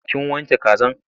Kin wanke kaza?